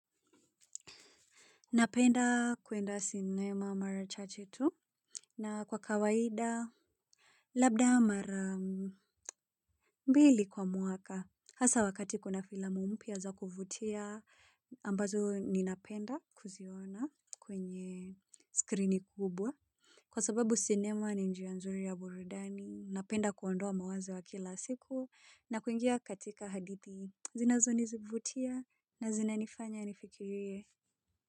Napenda kuenda cinema mara chache tu na kwa kawaida. Labda mara mbili kwa mwaka. Hasa wakati kuna filamu mpya za kuvutia ambazo ninapenda kuziona kwenye skrini kubwa. Kwa sababu sinema ni njia nzuri ya burudani. Napenda kuondoa mawazo ya kila siku na kuingia katika hadithi. Zinazonizivutia na zinanifanya nifikirie.